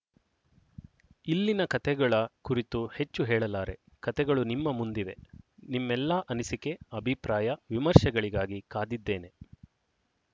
ಇಲ್ಲಿನ ಕಥೆಗಳ ಕುರಿತು ಹೆಚ್ಚು ಹೇಳಲಾರೆ ಕಥೆಗಳು ನಿಮ್ಮ ಮುಂದಿವೆ ನಿಮ್ಮೆಲ್ಲಾ ಅನಿಸಿಕೆ ಅಭಿಪ್ರಾಯ ವಿಮರ್ಶೆಗಳಿಗಾಗಿ ಕಾದಿದ್ದೇನೆ